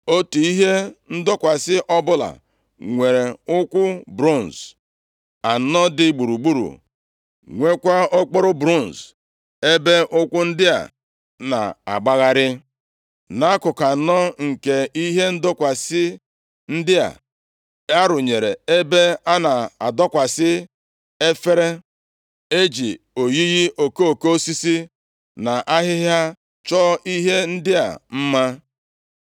Otu ihe ndọkwasị ọbụla nwere ụkwụ bronz anọ dị gburugburu, nweekwa okporo bronz ebe ụkwụ ndị a na-agbagharị. Nʼakụkụ anọ nke ihe ndọkwasị ndị a, a rụnyere ebe a na-adọkwasị efere. E ji oyiyi okoko osisi na ahịhịa chọọ ihe ndị a mma.